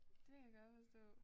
Det kan jeg godt forstå